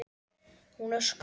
Hún öskrar.